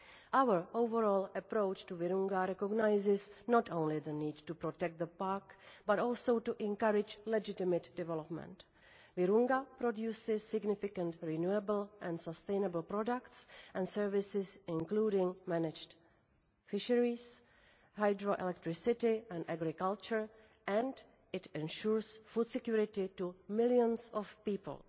Our overall approach to Virunga recognises not only the need to protect the park but also to encourage legitimate development. Virunga produces significant renewable and sustainable products and services, including managed fisheries, hydro electricity and agriculture, and it ensures food security to millions of people.